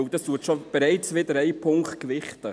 Denn damit wird bereits ein Punkt gewichtet.